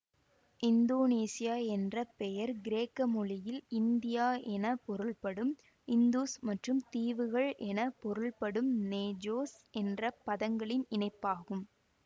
Indonesia என்ற பெயர் கிரேக்க மொழியில் இந்தியா என பொருள்படும் இந்துஸ் மற்றும் தீவுகள் என பொருள்படும் நேஜோஸ் என்ற பதங்களின் இணைப்பாகும்